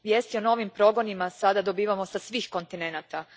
Vijesti o novim progonima sada dobivamo sa svih kontinenata.